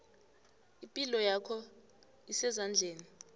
ipilo yakho isezandleni